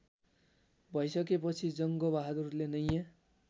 भइसकेपछि जङ्गबहादुरले नयाँ